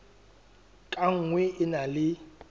ka nngwe e na le